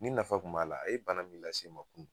Ni nafa kun b'ala a ye bana min lase n ma kunu